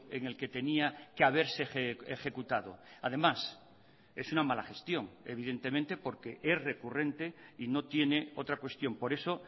en el que tenía que haberse ejecutado además es una mala gestión evidentemente porque es recurrente y no tiene otra cuestión por eso